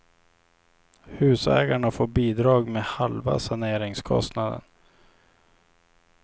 Husägarna får bidrag med halva saneringskostnaden.